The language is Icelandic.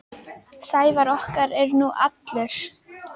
Sævar okkar er nú allur.